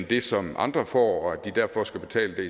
det som andre får og at de derfor skal betale det